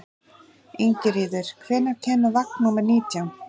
Ingiríður, hvenær kemur vagn númer nítján?